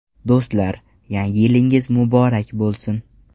Do‘stlar, yangi yilingiz muborak bo‘lsin!